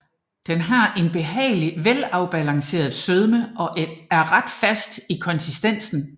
Den har en behagelig afbalanceret sødme og er ret fast i konsistensen